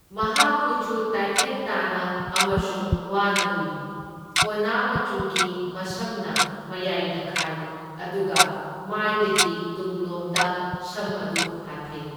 ꯃꯍꯥꯛ ꯀꯨꯆꯨ ꯇꯥꯢꯐꯦꯠ ꯇꯥꯅ ꯑꯃꯁꯨꯡ ꯋꯥꯅ ꯎꯏ, ꯀꯣꯅꯥ ꯃꯆꯨꯒꯤ ꯃꯁꯝꯅ ꯃꯌꯥꯢꯗ ꯈꯥꯏ ꯑꯗꯨꯒ ꯃꯥꯢꯗꯒꯤ ꯇꯨꯡꯂꯣꯝꯗ ꯁꯝ ꯑꯗꯨ ꯍꯥꯠꯊꯩ꯫